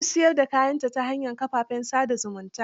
Ta fi siyar da kayanta ta hanyar kafafen sa da zumunta.